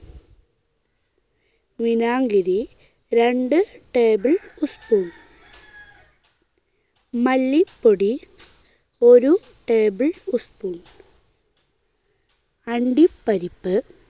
വിനാഗിരി രണ്ട് tablespoon. മല്ലിപ്പൊടി ഒരു ടേബിൾ സ്പൂൺ. അണ്ടിപ്പരിപ്പ്